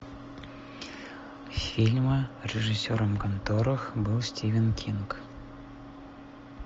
фильмы режиссером которых был стивен кинг